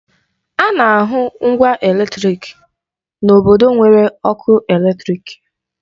Ana ahụ ngwa eletrịk n'obodo nwere ọkụ eletrịk.